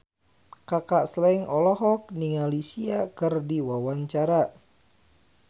Kaka Slank olohok ningali Sia keur diwawancara